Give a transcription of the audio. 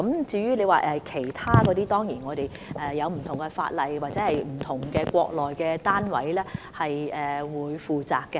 至於其他產品，當然我們要按不同法例處理，或由國內不同單位負責。